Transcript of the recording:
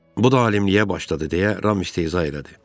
Bu da alimliyə başladı deyə Ram istehza elədi.